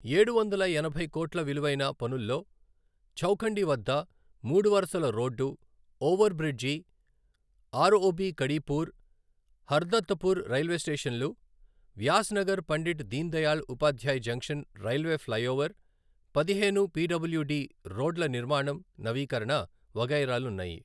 ఏడువందల ఎనభై కోట్ల విలువైన పనుల్లో చౌఖండివద్ద మూడు వరుసల road over bridge ROB Kadipur, Hardattpur railway స్టేషన్లు Vyasnagar Pandit Deendayal Upadhyay junction railway flyover పదిహేను పిడబ్ల్యుడి రోడ్ల నిర్మాణం నవీకరణ వగైరాలున్నాయి.